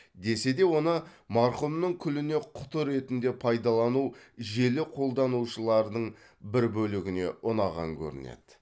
десе де оны марқұмның күліне құты ретінде пайдалану желі қолданушылардың бір бөлігіне ұнаған көрінеді